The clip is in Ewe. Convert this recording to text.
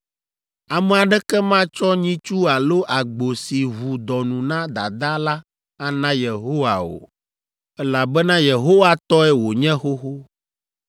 “ ‘Ame aɖeke matsɔ nyitsu alo agbo si ʋu dɔnu na dadaa la ana Yehowa o, elabena Yehowa tɔe wònye xoxo.